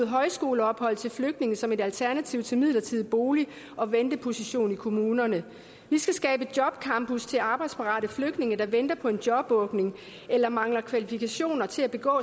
højskoleophold til flygtninge som et alternativ til en midlertidig bolig og venteposition i kommunerne vi skal skabe jobcampus til arbejdsparate flygtninge der venter på en jobåbning eller mangler kvalifikationer til at begå